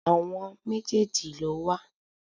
Àwọn méjèèjì ló wà.